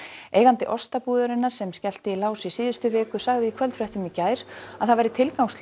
eigandi Ostabúðarinnar sem skellti í lás í síðustu viku sagði í kvöldfréttum í gær að það væri tilgangslaust